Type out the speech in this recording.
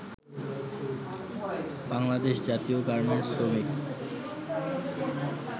বাংলাদেশ জাতীয় গার্মেন্টস শ্রমিক